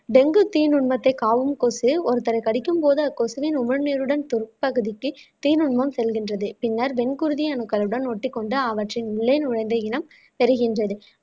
dengue தீநுண்மத்தை காக்கும் கொசு ஒருத்தரை கடிக்கும் போது அக்கொசுவின் உமிழ்நீருடன் உட்பகுதிக்கு தீநுண்மம் செல்கின்றது பின்னர் வெண் குருதி அணுக்களுடன் ஒட்டி கொண்டு அவற்றின் உள்ளே நுழைந்த இனம் பெறுகின்றது